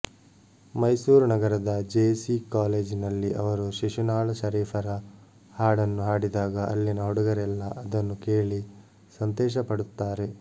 ಮೈಸೂರು ನಗರದ J C ಕಾಲೇಜಿನಲ್ಲಿ ಅವರು ಶಿಶುನಾಳ ಶರೀಫರ ಹಾಡನ್ನು ಹಾಡಿದಾಗ ಅಲ್ಲಿನ ಹುಡುಗರೆಲ್ಲ ಅದನ್ನು ಕೇಳಿ ಸಂತೋಷಪಡುತ್ತಾರೆ